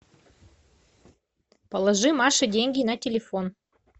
положи маше деньги на телефон